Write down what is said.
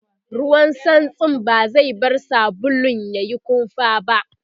ruwan santsin ba zai bar sabulun yayi kumfa ba